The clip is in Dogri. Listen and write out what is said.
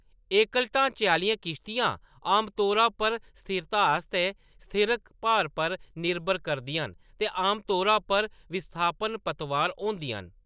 एकल ढांचे आह्‌‌‌लियां किश्तियां आमतौरा पर स्थिरता आस्तै स्थिरक भार पर निर्भर करदियां न ते आमतौरा पर विस्थापन पतवार होंदियां न।